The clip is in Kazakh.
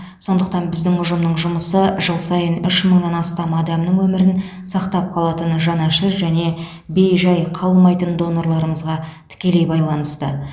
сондықтан біздің ұжымның жұмысы жыл сайын үш мыңнан астам адамның өмірін сақтап қалатын жанашыр және бей жай қалмайтын донорларымызға тікелей байланысты